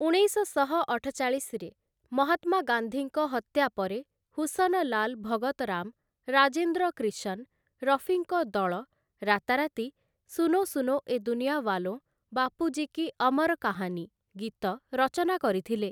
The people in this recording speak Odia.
ଉଣେଇଶଶହ ଅଠଚାଳିଶରେ ମହାତ୍ମା ଗାନ୍ଧୀଙ୍କ ହତ୍ୟା ପରେ ହୁସନଲାଲ ଭଗତରାମ ରାଜେନ୍ଦ୍ର କ୍ରିଶନ୍‌ ରଫିଙ୍କ ଦଳ ରାତାରାତି 'ସୁନୋ ସୁନୋ ଏ ଦୁନିଆୱାଲୋଁ, ବାପୁଜୀ କି ଅମର କାହାନୀ' ଗୀତ ରଚନା କରିଥିଲେ ।